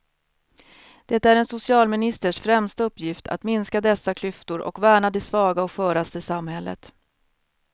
Det är en socialministers främsta uppgift att minska dessa klyftor och värna de svaga och sköraste i samhället.